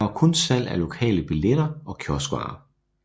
Der var kun salg af lokale billetter og kioskvarer